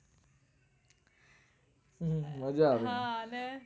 હમ મજા આવે હા અને